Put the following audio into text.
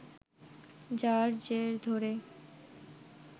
যার জের ধরে